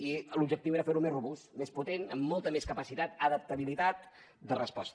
i l’objectiu era fer lo més robust més potent amb molta més capacitat adaptabilitat de resposta